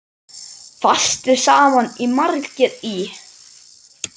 Fastir sama margir í.